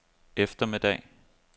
eftermiddag